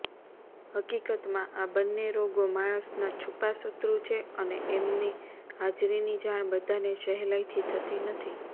હકીકતમાં આ બંને રોગો માણસના છૂપા શત્રુ છે એમની હાજરીની જાણ બધાને સહેલાઇથી થતી નથી